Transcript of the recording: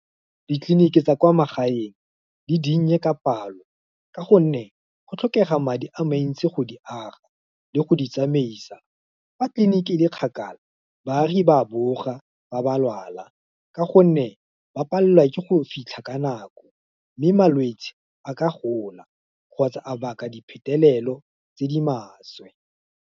Ditleliniki tsa kwa magaeng, di dinnye ka palo, ka gonne, go tlhokega madi a mantsi go di aga, le go di tsamaisa, fa tliliniki le kgakala, baagi ba a boga, fa ba lwala, ka gonne, ba palelwa ke go fitlha ka nako, mme malwetsi a ka gola, kgotsa a baka di phetelelo tse di maswe.